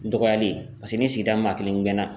Dɔgɔyali paseke ni sigida maa kelen gɛnna